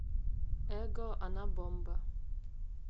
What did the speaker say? эго она бомба